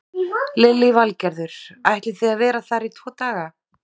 Lillý Valgerður: Ætlið þið að vera þar í tvo daga?